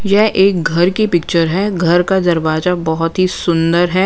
यह एक घर की पिक्चर हैं घर का दरवाजा बहुत ही सुंदर हैं।